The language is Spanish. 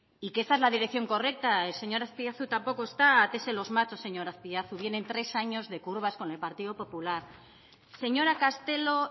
y que esta es la dirección correcta el señor azpiazu tampoco está átese los machos señor azpiazu vienen tres años de curvas con el partido popular señora castelo